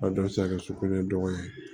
A dɔw bɛ se ka kɛ su kolon ye dɔgɔ ye